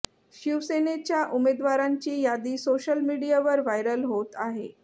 शिवसेनेच्या उमेदवारांची यादी सोशल मीडियावर व्हायरल होत आहे